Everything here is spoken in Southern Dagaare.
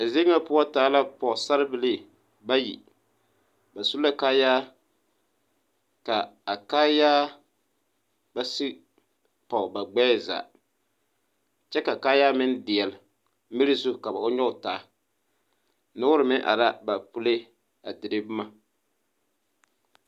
A zie ŋa poɔ taa la pɔɔsarebilii bayi ba su la kaayaa ka a kaayaa ba sige pɔg ba gbɛɛ zaa kyɛ ka kaayaa meŋ deɛɛle miri zu ka ba nyoge taa noore meŋ are aa ba pulee a dire bomma.